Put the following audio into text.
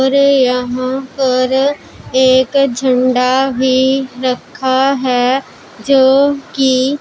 और यहां पर एक झंडा भी रखा है जोकि--